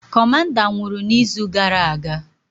Kọmanda nwụrụ na izu gara aga